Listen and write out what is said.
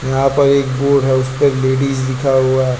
यहां पर एक बोर्ड है उसपे लेडीज लिखा हुआ हैं।